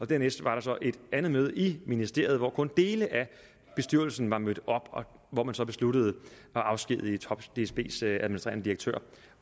dernæst var et andet møde i ministeriet hvor kun dele af bestyrelsen var mødt op og hvor man så besluttede at afskedige dsbs administrerende direktør